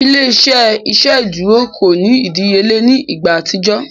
Ile-iṣẹ iṣeduro ko ni idiyele ni igba atijọ.